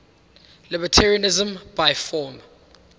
libertarianism by form